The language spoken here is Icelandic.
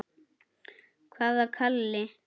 Hvaða Kalli?